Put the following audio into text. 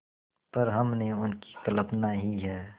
पर हमने उनकी कल्पना ही है